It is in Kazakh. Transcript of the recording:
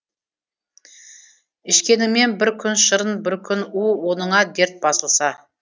ішкеніңмен бір күн шырын бір күн у оныңа дерт басылса